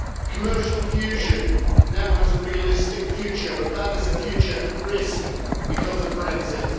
Commercial fusion now has a realistic future but that is a future at risk because of Brexit.